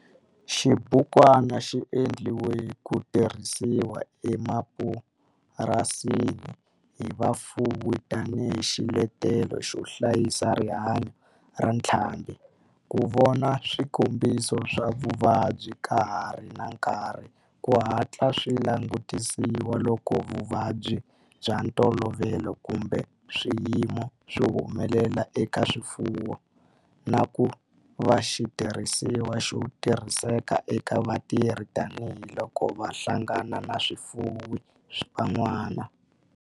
Xibukwana xi endliwe ku tirhisiwa emapurasini hi vafuwi tani hi xiletelo xo hlayisa rihanyo ra ntlhambhi, ku vona swikombiso swa vuvabyi ka ha ri na nkarhi ku hatla swi langutisiwa loko vuvabyi bya ntolovelo kumbe swiyimo swi humelela eka swifuwo, na ku va xitirhisiwa xo tirhiseka eka vatirhi tani hi loko va hlangana na vafuwi van'wana.